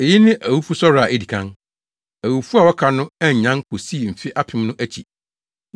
Eyi ne awufosɔre a edi kan. Awufo a wɔaka no annyan kosii mfe apem no akyi.